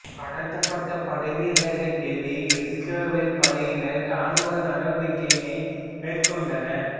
கடத்தப்பட்ட படைவீரைத் தேடி இசுரவேல் படையினர் இராணுவ நடவடிக்கையினை மேற் கொண்டனர்